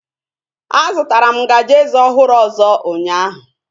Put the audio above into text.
A zụtara m ngaji eze ọhụrụ ọzọ ụnyaahụ